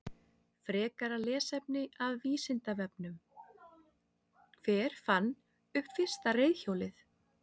Frekara lesefni af Vísindavefnum: Hver fann upp fyrsta reiðhjólið?